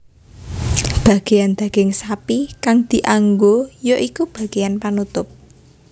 Bageyan daging sapi kang dianggo ya iku bageyan panutup